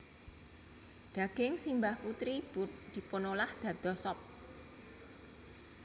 Daging simbah putri dipunolah dados sup